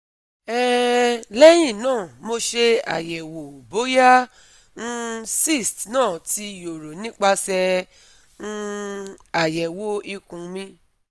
um Lehin na mo se ayewo boya um cysts na ti yoro nipase um ayewo ikun mi